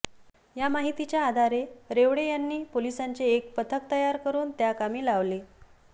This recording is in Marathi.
या माहितीच्या आधारे रेवळे यांनी पोलिसांचे एक पथक तयार करून त्याकामी लावले